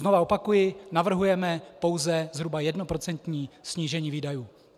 Znovu opakuji - navrhujeme pouze zhruba jednoprocentní snížení výdajů.